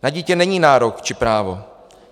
Na dítě není nárok či právo.